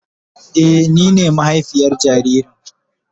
Eh, ni ne mahaifiyar jaririn.